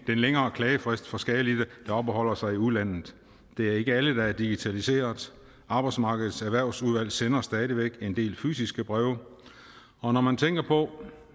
længere klagefrist for skadelidte der opholder sig i udlandet det er ikke alle der digitaliseret arbejdsmarkedets erhvervssikring sender stadig væk en del fysiske breve og når man tænker på